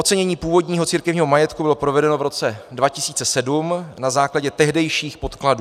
Ocenění původního církevního majetku bylo provedeno v roce 2007 na základě tehdejších podkladů.